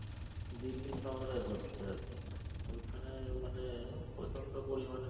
দিল্লী শহরে হচ্ছে আরকি ওইখানে মানে উম প্রচন্ড পরিমানে